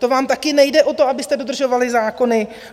To vám taky nejde o to, abyste dodržovali zákony.